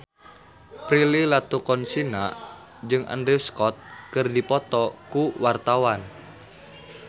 Prilly Latuconsina jeung Andrew Scott keur dipoto ku wartawan